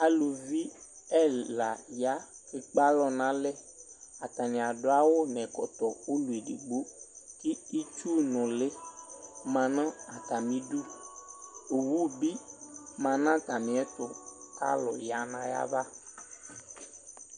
Aluvi ɛla ya kekpalɔ nalɛAtani adʋ awu nɛkɔtɔ ulu edigbo kʋ itsu nuli ma nʋ atamiduOwu bi ma natamiɛtu, kalu ya nayava